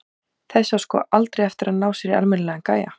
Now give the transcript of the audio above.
Þessi á sko aldrei eftir að ná sér í almennilegan gæja.